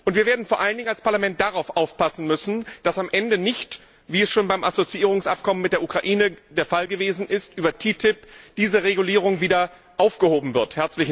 Wir werden vor allen Dingen als Parlament darauf aufpassen müssen, dass am Ende nicht wie es schon beim Assoziierungsabkommen mit der Ukraine der Fall gewesen ist über die TTIP diese Regulierung wieder aufgehoben wird.